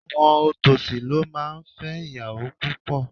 Àwọn òtòṣì ló máa ń fẹ́ ìyàwó púpọ̀.